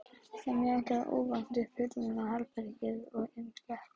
Þá mjakaðist óvænt upp hurðin að herberginu og inn gekk